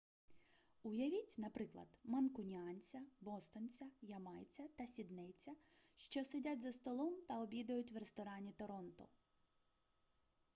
уявіть наприклад манкуніанця бостонця ямайця та сіднейця що сидять за столом та обідають в ресторані торонто